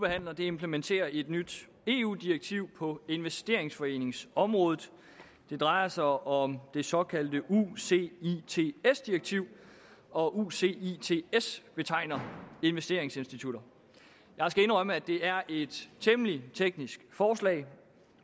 behandler nu implementerer et nyt eu direktiv på investeringsforeningsområdet det drejer sig om det såkaldte ucits direktiv og ucits betegner investeringsinstitutter jeg skal indrømme at det er et temmelig teknisk forslag